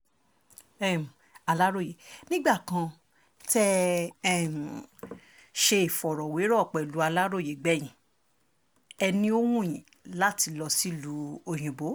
um aláròye nígbà kan tẹ́ um ẹ ṣe ìfọ̀rọ̀wérọ̀ pẹ̀lú aláròye gbẹ̀yìn ẹ̀ ni ó wù yín láti lọ sílùú òyìnbó